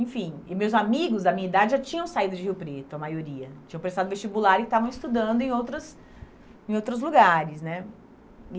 Enfim, e meus amigos da minha idade já tinham saído de Rio Preto, a maioria, tinham prestado vestibular e estavam estudando em outras em outros lugares, né?